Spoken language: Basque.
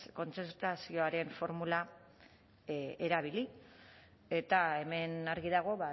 kontzertazioaren formula erabili eta hemen argi dago